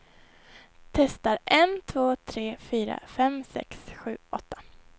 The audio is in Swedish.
Testar en två tre fyra fem sex sju åtta.